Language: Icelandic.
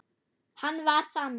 Hann var þannig.